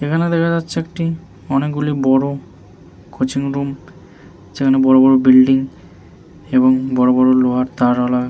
এখানে দেখা যাচ্ছে একটি অনেকগুলি বড় কোচিং রুম যেখানে বড় বড় বিল্ডিং এবং বড় বড় লোহার তার আলা--